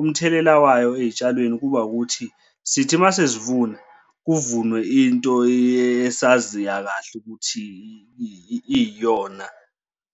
umthelela wayo ey'tshalweni kuba ukuthi sithi uma sesivula kuvunwe into esaziya kahle ukuthi iyiyona